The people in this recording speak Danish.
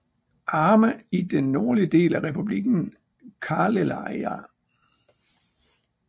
Arme i den nordlige del af Republikken Karelija